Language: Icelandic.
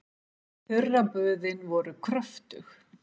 Þurraböðin voru kröftug.